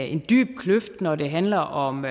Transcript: en dyb kløft når det handler om